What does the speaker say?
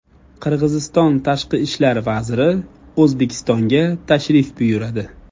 Qirg‘iziston tashqi ishlar vaziri O‘zbekistonga tashrif buyuradi.